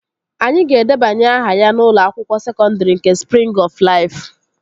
Anyị ga-edebanye aha ya n'ụlọ akwụkwọ sekọndri nke Sprịng ọf Laifu